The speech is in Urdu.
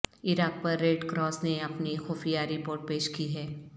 عراق پر ریڈ کراس نے اپنی خفیہ رپورٹ پیش کی ہے